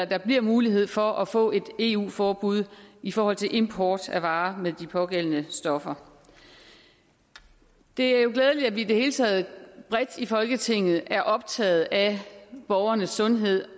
der bliver mulighed for at få et eu forbud i forhold til import af varer med de pågældende stoffer det er jo glædeligt at vi i det hele taget bredt i folketinget er optaget af borgernes sundhed